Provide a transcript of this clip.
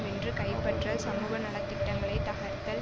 வென்று கைப்பற்றல் சமூக நல திட்டங்களை தகர்த்தல்